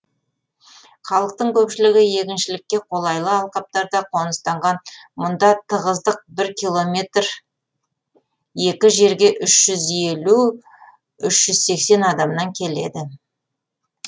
халықтың көпшілігі егіншілікке қолайлы алқаптарда қоныстанған мұнда тығыздық бір километр екі жерге үш жүз елу үш жүз сексен адамнан келеді